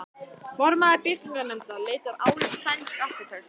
Formaður byggingarnefndar leitar álits sænsks arkitekts.